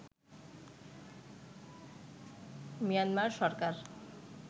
Myanmar Sarkar